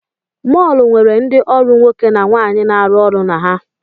Mọọlụ nwere ndị ọrụ nwoke na nwaanyị na-arụ ọrụ na ha.